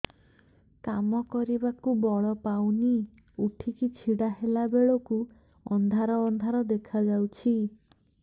କାମ କରିବାକୁ ବଳ ପାଉନି ଉଠିକି ଛିଡା ହେଲା ବେଳକୁ ଅନ୍ଧାର ଅନ୍ଧାର ଦେଖା ଯାଉଛି